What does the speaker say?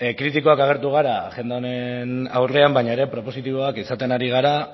kritikoak agertu gara agenda honen aurrean baina ere propositiboak izaten ari gara